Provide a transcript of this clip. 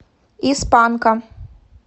из панка